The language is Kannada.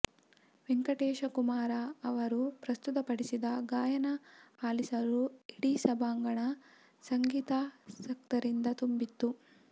ವೆಂಕಟೇಶ ಕುಮಾರ ಅವರು ಪ್ರಸ್ತುತಪಡಿಸಿದ ಗಾಯನ ಆಲಿಸಲು ಇಡೀ ಸಭಾಂಗಣ ಸಂಗೀತಾಸಕ್ತರಿಂದ ತುಂಬಿತ್ತು